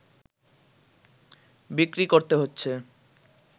বিক্রি করতে হচ্ছে